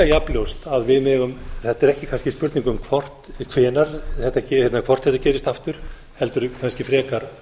jafn ljóst að þetta er ekki kannski spurning um hvort þetta gerist aftur heldur kannski frekar